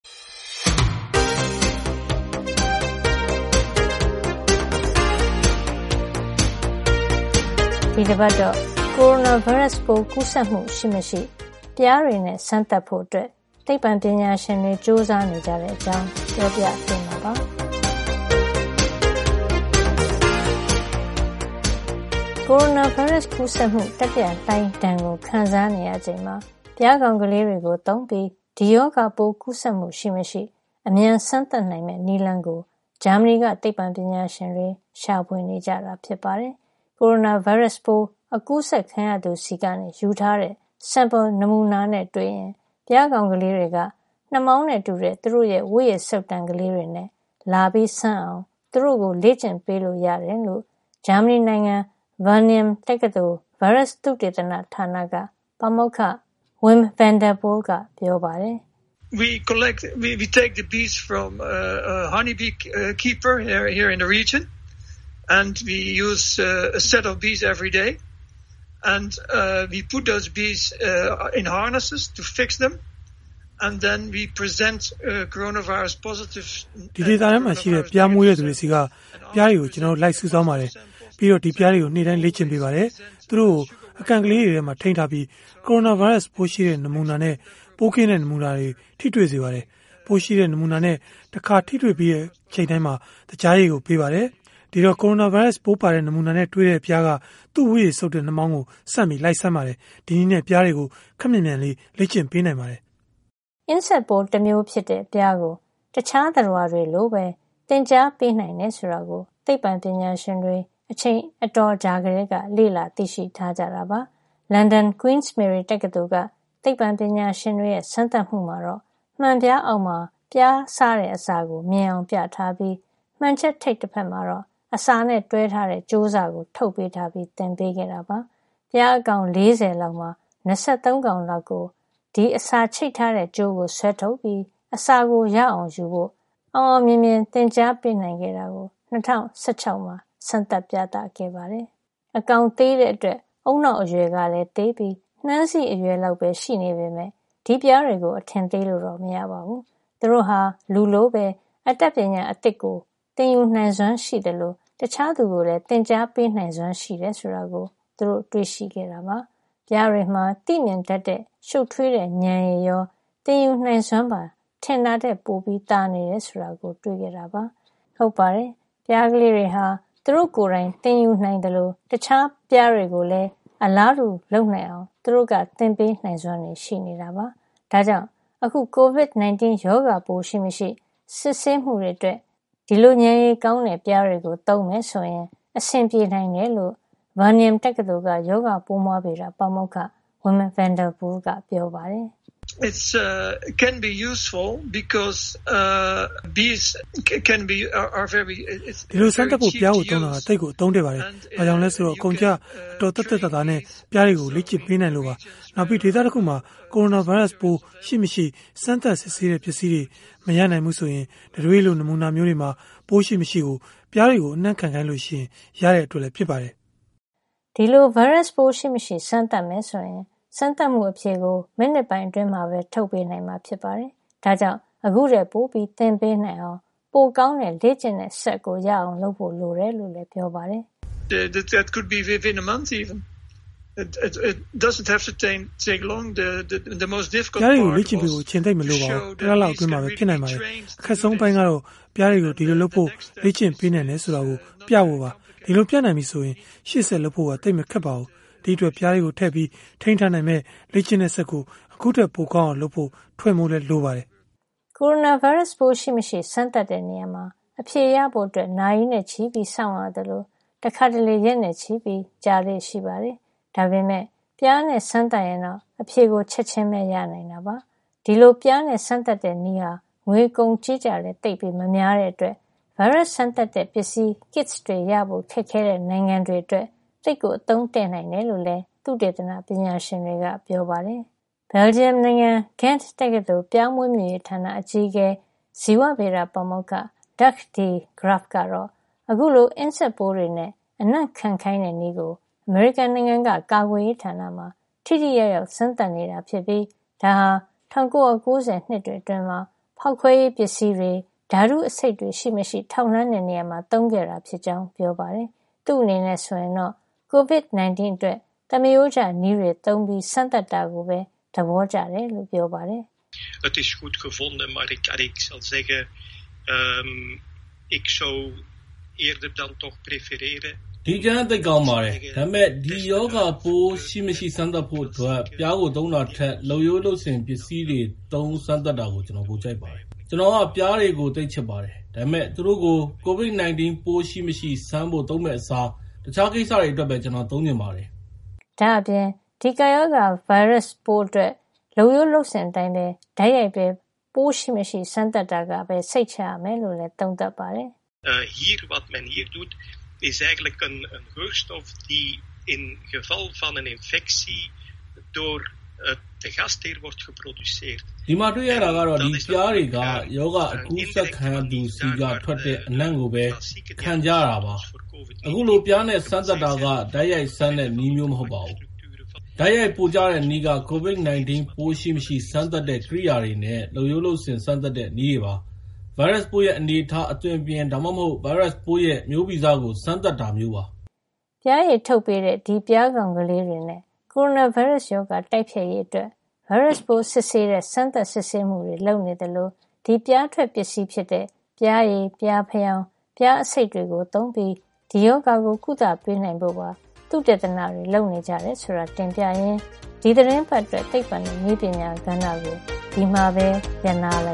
ဒီတပတ်တော့ ကိုရိုနာဗိုင်းရပ်စ်ပိုး ကူးစက်မှု ရှိမရှိ ပျားတွေနဲ့စမ်းသပ်ဖို့ သိပ္ပံ ပညာရှင်တွေ ကြိုးစားနေတဲ့ အကြောင်း ပြောပြပေးမှာပါ။ ကိုရိုနာဗိုင်းရပ်စ် ကူးစက်မှု တတိယလှိုင်းဒဏ် ခံစားနေရချိန်မှာ ပျားကောင်လေးတွေကို သုံးပြီး ဒီရောဂါပိုးကူးစက်မှု ရှိမရှိ အမြန်စမ်းသပ်နိုင်မယ့် နည်းလမ်းကို ဂျာမဏီက သိပ္ပံပညာရှင်တွေ ရှာဖွေနေတာ ဖြစ်ပါတယ်။ ကိုရိုနာဗိုင်းရပ်စ် ပိုးအကူးစက်ခံရသူဆီက ယူထားတဲ့ sample နမူနာနဲ့ တွေ့ရင် ပျားကောင်ကလေးတွေက နှာမောင်းနဲ့ တူတဲ့ သူတို့ရဲ့ဝတ်ရည်စုပ်တံ ကလေးတွေနဲ့ လာစမ်းအောင် သူတို့ကို လေ့ကျင့်ပေးလို့ရတယ်လို့ ဂျာမဏီနိုင်ငံ ဗားနင်ယံWageningen တက္ကသိုလ် ဗိုင်းရပ်စ်သုတေသနဌာနက ပါမောက္ခ Wim Van Der Poel က ပြောပါတယ်။ “ဒီဒေသထဲမှာရှိတဲ့ ပျားမွေးမြူတဲ့သူတွေဆီက ပျားတွေကို ကျနော်တို့ လိုက်စုဆောင်းပါတယ်။ ပြီးတော့ဒီပျားတွေကို နေ့တိုင်းလေ့ကျင့်ပေးပါတယ်။ သူတို့ကို အကန့်ကလေးထဲမှာထိန်းထားပြီး ကိုရိုနာဗိုင်းရပ်စ် ပိုးရှိတဲ့ နမူနာနဲ့ ပိုးကင်းတဲ့ နမူနာတွေ နဲ့ထိတွေ့စေပါတယ်။ ပိုးရှိတဲ့ နမူနာနဲ့ တခါထိတွေ့ပြီးတိုင်း သကြားရည်ကို ပေးပါတယ်။ ဒီတော့ ကိုရိုနာဗိုင်းရပ်စ် ပိုးပါတဲ့ နမူနာနဲ့ တွေ့တိုင်း ပျားးကသူ့ ဝတ်ရည်စုပ်တဲ့နှာမောင်းကို ဆန့်ပြီးလိုက်စမ်းပါတယ်။ ဒီနည်းနဲ့ ပျားတွေကို ခပ်မြန်မြန်လေး လေ့ကျင့်ပေးနိုင်ပါတယ်။” အင်းဆက်ပိုးတမျိုး ဖြစ်တဲ့ ပျားကို တခြားသတ္တဝါတွေလိုပဲ လေ့ကျင့်သင်ကြား ပေးနိုင်တယ် ဆိုတာကို သိပ္ပံပညာရှင်တွေ အချိန်အတော်ကြာကတည်းက လေ့လာ သိရှိထားကြတာပါ။ လန်ဒန် Queen Mary တက္ကသိုလ်က သိပ္ပံပညာရှင်တွေရဲ့ စမ်းသပ်မှုမှာတော့ မှန်ပြားအောက်မှာ ပျားစားတဲ့အစာကို မြင်အောင် ပြထားပြီး မှန်ချပ်ထိပ်ဖက်မှာတော့ အစာနဲ့တွဲထားတဲ့ ကြိုးစကိုထုတ်ပေးထားပြီး သင်ပေးခဲ့တာပါ။ ပျားအကောင် ၄၀ လောက်မှာ ၂၃ လောက်ကို ဒီအစာချိတ်ထားတဲ့ ကြိုးကို ဆွဲထုတ်ပြီး အစာကို ရအောင်ယူဖို့ အောင်အောင်မြင်မြင် သင်ကြားပေးနိုင်ခဲ့ကြောင့် ၂၀၁၆ မှာ စမ်းသပ်ပြသခဲ့ပါတယ်။ အကောင်သေးတဲ့အတွက် ဦးနှောက်အရွယ်ကလည်း သေးပြီး နှမ်းစေ့အရွယ်လောက်ပဲ ရှိနေပေမယ့် ဒီပျားတွေကို အထင်သေးလို့တော့ မရပါဘူး။ သူတို့ဟာ လူလိုပဲ အတတ်ပညာသစ် ရအောင် သင်ယူနိုင်စွမ်းရှိသလို တခြားသူကိုလည်း သင်ကြားပေးနိုင်စွမ်းရှိတယ် ဆိုတာကို သူတို့ တွေ့ရှိခဲ့တာပါ။ ပျားတွေမှာ သိမြင်တတ်တဲ့ ရှုပ်ထွေးတဲ့ဉာဏ်ရည်ရော သင်ယူနိုင်စွမ်းပါ ထင်တာထက် ပိုသာနေတယ်ဆိုတာကို တွေ့ရှိခဲ့ကြတာ ဖြစ်ပါတယ်။ ဟုတ်ပါတယ် ပျားကလေးတွေဟာ သူတို့ကိုယ်တိုင် သင်ယူနိုင်သလို တခြားပျားတွေကိုလည်း အလားတူ လုပ်နိုင်အောင် သူတို့က သင်ပေးနိုင်စွမ်းလည်း ရှိနေတာပါ။ ဒါကြောင့် အခု Covid 19 ရောဂါပိုး ရှိမရှိ စစ်ဆေးမှုတွေ အတွက်ဒီလိုပျားတွေကို သုံးမယ်ဆိုရင် အဆင်ပြေနိုင်တယ်လို့. ဗားနင်ယံWageningen တက္ကသိုလ်က ရောဂါပိုးမွှားဗေဒ ပါမောက္ခ Wim Van Der Poel က ပြောပါတယ်။ "ဒီလိုစမ်းသပ်ဖို့ ပျားကိုသုံးတာ သိပ်ကို အသုံးတဲ့ပါတယ်။ ဘာကြောင့်လဲ ဆိုတော့ အကုန်အကျ အတော် သက်သက်သာသာနဲ့ ပျားတွေကိုလေ့ကျင့်ပေးနိုင်လို့ပါ။ နောက်ပြီး ဒေသတခုမှာ ကိုရိုနာဗိုင်းရပ်စ်ပိုး ရှိမရှိ စမ်းသပ်စစ်ဆေးတဲ့ ပစ္စည်းတွေ မရနိုင်ဘူးဆိုရင် တံတွေးလို နမူနာမျိုးတွေမှာ ပိုးရှိမရှိ ပျားတွေကို အနံ့ခံ ခိုင်းလို့ရတဲ့ အတွက်ဖြစ်ပါတယ်။” ဒီလို ဗိုင်းရပ်စ်ပိုးရှိမရှိ စမ်းမယ်ဆိုရင် စမ်းသပ်မှုအဖြေကို မိနစ်ပိုင်း အတွင်းမှာပဲ ထုတ်ပေးနိုင်မှာ ဖြစ်ပါတယ်။ ဒါ့ကြောင့် ခုထက်ပိုပြီး သင်ပေးနိုင်အောင် ပိုကောင်းတဲ့ လေ့ကျင့်တဲ့စက်ရအောင် လုပ်ဖို့လိုတယ်လို့လည်း ပြောပါတယ်။ "ပျားတွေကို လေ့ကျင့်ပေးဖို့ အချိန်သိပ်မလိုပါဘူး၊ တလလောက် အတွင်းမှာပဲ ရနိုင်ပါတယ်။ အခက်ဆုံး အပိုင်းကတော့ ပျားတွေကို ဒီလိုလုပ်ဖို့ လေ့ကျင့်ပေးနိုင်တယ် ဆိုတာ ပြဖို့ပါ။ ဒီလို ပြနိုင်ပြီဆိုရင် ရှေ့ဆက် လုပ်ဖို့သိပ်မခက်တော့ပါဘူး။ ဒီ့အတွက် ပျားတွေကိုထည့်ပြီး ထိန်းထားနိုင်မယ့် လေ့ကျင့်တဲ့စက်ကို ခုထက်ပိုကောင်းအောင် လုပ်ဖို့ - ထွင်ဖို့လိုပါတယ်။” ကိုရိုနာဗိုင်းရပ်စ် ပိုးရှိမရှိ စမ်းသပ်တဲ့နေရာမှာ အဖြေရဖို့ နာရီနဲ့ချီပြီးစောင့်ရသလို တခါတလေ ရက်နဲ့ချီပြီး ကြာလေ့ရှိပါတယ်။ ဒါပေမယ့် ပျားနဲ့ စမ်းသပ်ရင်တော့ အဖြေကို ချက်ချင်းပဲ ရနိုင်တာပါ။ ဒီလို ပျားနဲ့စမ်းသပ်တဲ့နည်းဟာ ငွေကုန်ကြေးကျလည်း သိပ်မများတဲ့ အတွက် ဗိုင်းရပ်စ်စမ်းသပ်တဲ့ ပစ္စည်း kits ရဖို့ ခက်ခဲတဲ့ နိုင်ငံတွေ အတွက် သိပ်ကို အသုံးတဲ့နိုင်တယ်လို့လည်း သုတေသန ပညာရှင်တွေက ပြောပါတယ်။ ဘယ်လ်ဂျီယံနိုင်ငံ Ghent တက္ကသိုလ် ပျားမွေးမြူရေးဌာန အကြီးအကဲ ဇီဝဗေဒပါမေက္ခ Dirk de Graaf ဂရပ်ဖ် ကတော့ အခုလို အင်းဆက်ပိုးတွေနဲ့ အနံ့ခံခိုင်းတဲ့ နည်းကို အမေရိကန်နိုင်ငံက ကာကွယ်ရေးဌာနမှာ ထိထိရောက်ရောက် စမ်းသပ်နေတာ ဖြစ်ပြီး ဒါဟာ ၁၉ ၉ ၀ နှစ်တွေ အတွင်းမှာ ဖေါက်ခွဲရေးပစ္စည်းတွေ၊ ဓါတုအဆိပ်တွေရှိမရှိ ထောက်လှန်းတဲ့ နေရာမှာ သုံးခဲ့တာ ဖြစ်ကြောင်းပြောပါတယ်။ သူ့အနေနဲ့ ဆိုရင်တော့ Covid 19 အတွက် သမရိုးကျနည်းတွေသုံး စမ်းသပ်တာကိုပဲ သဘောကျတယ်လို့ ပြောပါတယ်။ "ဒီ အကြံက သိပ်ကောင်းပါတယ်။ ဒါပေမယ့် ဒီရောဂါပိုး ရှိမရှိ စမ်းသပ်ဖို့အတွက် ပျားကို သုံးတာထက် လုပ်ရိုးလုပ်စဉ် ပစ္စည်းတွေသုံး စမ်းသပ်တာကို ကျနော်ပိုကြိုက်ပါတယ်။ ကျနော်က ပျားတွေကို သိပ်ချစ်ပါတယ်။ ဒါပေမယ့် သူတို့ကို Covid 19 ပိုး ရှိမရှိ စမ်းဖို့ သုံးမယ့်အစား တခြားကိစ္စတွေ အတွက်ပဲ ကျနော်သုံးချင်ပါတယ်။" ဒါ့အပြင် ဒီကပ်ရောဂါဗိုင်းရပ်စ်ပိုးအတွက် လုပ်ရိုးလုပ်စဉ်အတိုင်း တိုက်ရိုက်ပဲ. ဗိုင်းရပ်စ်ရှိမရှိ စမ်းသပ်တာကပဲ စိတ်ချရမယ်လို့ သုံးသပ်ပါတယ်။ "ဒီမှာတွေ့ရတာကတော့ ဒီပျားတွေက ရောဂါ အကူးစက်ခံရသူ ဆီက ထွက်တဲ့ အနံ့ကိုပဲ ခံကြတာပါ။ အခုလို ပျားနဲ့ စမ်းသပ်တာက တိုက်ရိုက်စမ်းတဲ့နည်းမျိုးမဟုတ်ပါဘူး။ တိုက်ရိုက်ပိုကျတဲ့နည်းက COVID-19 ပိုးရှိမရှိ စမ်းသပ်တဲ့ကရိယာတွေနဲ့ လုပ်ရိုးလုပ်စဉ် စမ်းသပ်တဲ့ နည်းတွေပါ။ ဗိုင်းရပ်စ်ပိုးရဲ့ အနေအထား အသွင်အပြင် ဒါမှမဟုတ် ဗိုင်းရပ်စ်ပိုးရဲ့ မျိုးဗီဇကို စမ်းသပ်တာမျိူးပါ။” ပျားရည်ထုတ်ပေးတဲ့ ဒီပျားကောင်လေးတွေနဲ့ ကိုရိုနာဗိုင်းရပ်စ် တိုက်ဖျက်ရေး အတွက် ဗိုင်းရပ်ပိုးစစ်ဆေးတဲ့ စမ်းသပ်စစ်ဆေးမှုတွေ လုပ်နေသလို ဒီပျားထွက်ပစ္စည်း ဖြစ်တဲ့ ပျားရည်၊ ပျားဖယောင်း၊ ပျားအဆိပ် တွေသုံးပြီး ဒီရောဂါကို ကုသပေးနိုင်ဖို့ သုတေသနတွေ လုပ်နေကြတယ် ဆိုတာ တင်ပြရင်း ဒီသီတင်းပတ်အတွက် သိပ္ပံနဲ့နည်းပညာ ကဏ္ဍကို ဒီမှာပဲ ရပ်နားလို